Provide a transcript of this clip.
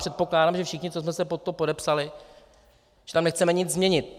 Předpokládám, že všichni, co jsme se pod to podepsali, že tam nechceme nic změnit.